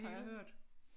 Har jeg hørt